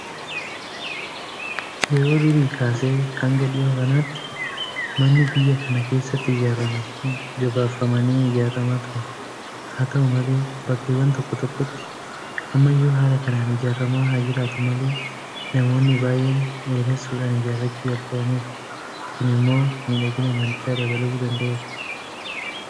Yeroo durii kaasee hanga dhiyoo kanaatti manni biyya kana keessatti ijaaraman gabaabfamanii ijaaramaa turan. Haata'u malee bakkeewwan tokko tokkotti ammayyuu haala kanaan ijaaramaa haa jiraatu malee namoonni baay'een dheeressuudhaan ijaarrachuu jalqabaniiru. Kun immoo miidhagina manichaa dabaluu danda'a.